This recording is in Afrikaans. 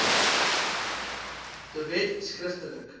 de wet skriftelik